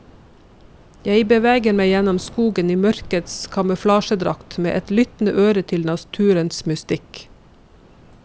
Jeg beveger meg gjennom skogen i mørkets kamuflasjedrakt med et lyttende øre til naturens mystikk.